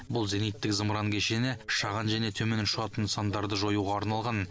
бұл зениттік зымыран кешені шағын және төмен ұшатын нысандарды жоюға арналған